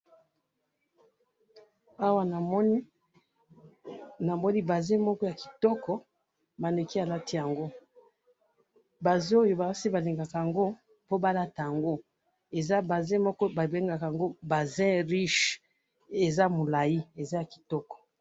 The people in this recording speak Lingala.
awa namoni bass moko yakitoko maneke alatiyango bass oya basi balingakayango po balatayango eza bass moko babengakayango bass richi ezayamulai ezakitoko